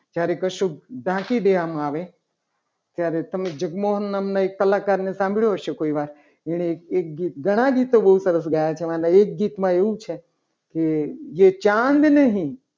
જ્યારે કશુંક ઢાંકી દેવામાં આવે ત્યારે તમે એક જગમોહન નામના કલાકારને સાંભળ્યો હશે. કોઈ વાર એને એક ગીત ઘણા ગીતો બહુ સરસ ગાયા છે. મતલબ એક ગીતમાં એવું છે. જે ચાંદ નહીં.